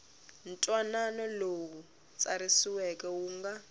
ntwanano lowu tsariweke wu nga